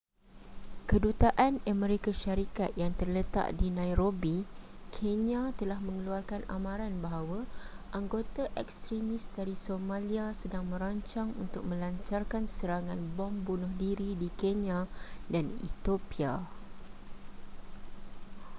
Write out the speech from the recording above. kedutaan amerika syarikat yang terletak di nairobi kenya telah mengeluarkan amaran bahawa anggota ekstremis dari somalia sedang merancang untuk melancarkan serangan bom bunuh diri di kenya dan etiopia